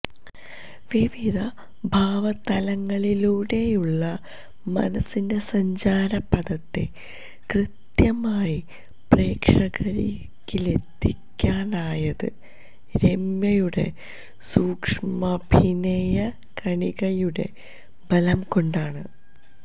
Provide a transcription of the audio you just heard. വിവിധ ഭാവതലങ്ങളിലൂടെയുള്ള മനസിൻ്റെ സഞ്ചാരപഥത്തെ കൃത്യമായി പ്രേക്ഷകരിലേക്കെത്തിക്കാനായത് രമ്യയുടെ സൂക്ഷ്മാഭിനയകണികയുടെ ബലം കൊണ്ടാണ്